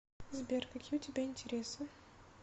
сбер какие у тебя интересы